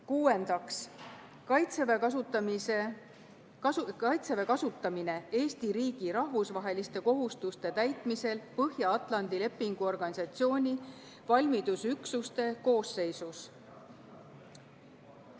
Kuuendaks, Kaitseväe kasutamine Eesti riigi rahvusvaheliste kohustuste täitmisel Põhja-Atlandi Lepingu Organisatsiooni valmidusüksuste koosseisus.